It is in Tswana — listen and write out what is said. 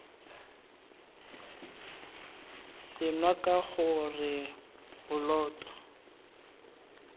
senngwa k g r poloto